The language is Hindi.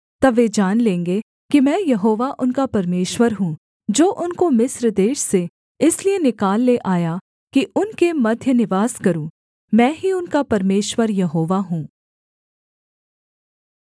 तब वे जान लेंगे कि मैं यहोवा उनका परमेश्वर हूँ जो उनको मिस्र देश से इसलिए निकाल ले आया कि उनके मध्य निवास करूँ मैं ही उनका परमेश्वर यहोवा हूँ